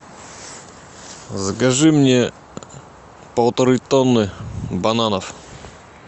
закажи мне полторы тонны бананов